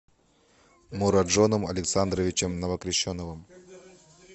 муроджоном александровичем новокрещеновым